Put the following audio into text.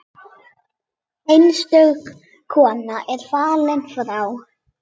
Einstök kona er fallin frá.